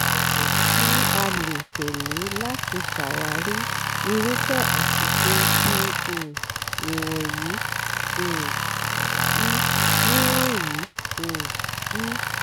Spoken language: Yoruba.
ìlànà tí a lè tẹ̀lẹ́ láti ṣàwárí irúfẹ́ àṣìṣe bi um nìwọ̀nyí: um i) nìwọ̀nyí: um i)